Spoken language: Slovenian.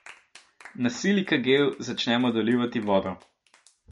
Na silikagel začnemo dolivati vodo.